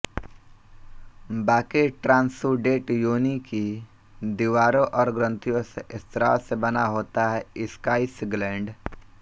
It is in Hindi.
बाकी ट्रांसुडेट योनि की दीवारों और ग्रंथियों से स्राव से बना होता है स्काईस ग्लैंड